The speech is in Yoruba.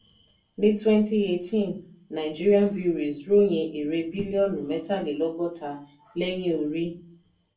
ní twenty eighteen nàìjíríà breweries ròyìn èrè bílíọ̀nù mẹ́tàlélọ́gọ́ta lẹ́yìn orí.